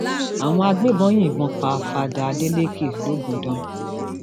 àwọn agbébọn yìnbọn um pa fada adelékẹ logundan